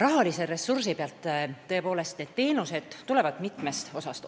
Rahalise ressursiga on tõepoolest nii, et nendele teenustele tuleb raha mitmest kohast.